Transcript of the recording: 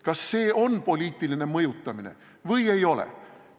Kas see on poliitiline mõjutamine või ei ole?